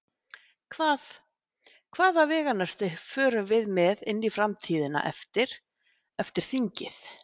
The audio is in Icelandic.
Hvað, hvaða veganesti förum við með inn í framtíðina eftir, eftir þingið?